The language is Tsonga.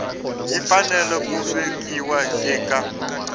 yi fanele ku vekiwa eka